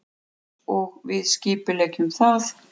Einsog við skipuleggjum það.